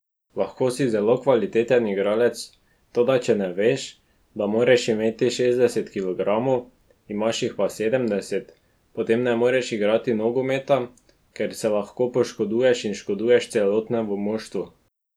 Lahko si zelo kvaliteten igralec, toda če veš, da moraš imeti šestdeset kilogramov, imaš jih pa sedemdeset, potem ne moreš igrati nogometa, ker se lahko poškoduješ in škoduješ celotnemu moštvu.